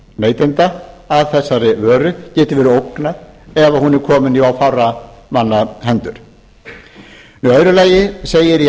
neytenda að þessari vöru geti verið ógnað ef hún er komin í of fárra manna hendur í öðru lagi segir í